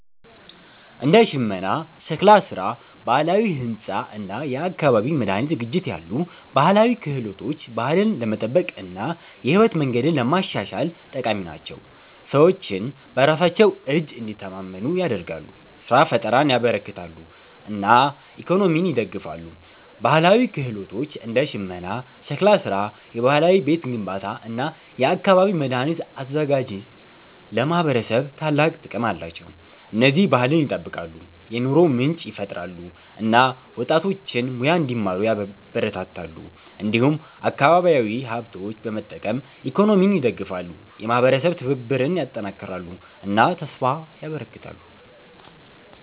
እንደ ሽመና፣ ሸክላ ስራ፣ ባህላዊ ሕንፃ እና የአካባቢ መድኃኒት ዝግጅት ያሉ ባህላዊ ክህሎቶች ባህልን ለመጠበቅ እና የህይወት መንገድን ለማሻሻል ጠቃሚ ናቸው። ሰዎችን በራሳቸው እጅ እንዲተማመኑ ያደርጋሉ፣ ስራ ፍጠርን ያበረክታሉ እና ኢኮኖሚን ይደግፋሉ። ባህላዊ ክህሎቶች እንደ ሽመና፣ ሸክላ ስራ፣ የባህላዊ ቤት ግንባታ እና የአካባቢ መድኃኒት አዘጋጅት ለማህበረሰብ ታላቅ ጥቅም አላቸው። እነዚህ ባህልን ይጠብቃሉ፣ የኑሮ ምንጭ ይፈጥራሉ እና ወጣቶችን ሙያ እንዲማሩ ያበረታታሉ። እንዲሁም አካባቢያዊ ሀብቶችን በመጠቀም ኢኮኖሚን ይደግፋሉ፣ የማህበረሰብ ትብብርን ያጠናክራሉ እና ተስፋ ያበረክታሉ።